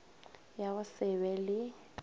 ya go se be le